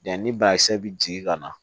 Yan ni bakisɛ bi jigin ka na